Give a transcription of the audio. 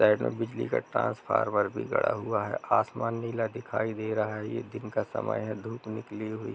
side में बिजली का ट्रांसफार्मर भी गड़ा हुआ है आसमान नीला दिखाई दे रहा है ये दिन का समय है धूप निकली हुई --